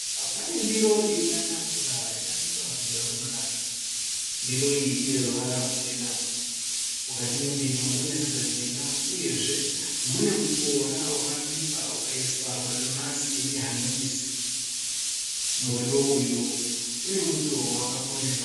Pane ndiro iripatafura yakabikwa kudya kunonaka. Ndiro iyi ineruvara ruchena. Mukati me ndiro mune sadza jena. Uyezve muñe muboora wakabikwa ukaiswa madomasi nehanyanisi. Muriwo uyu une muto wakakorera.